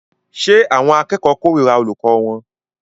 Ṣé àwọn akẹ́kọ̀ọ́ kórìíra olùkọ́ wọn?